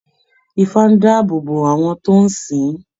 Ifá ń dá àbò bó àwọn tó ń sìn ìn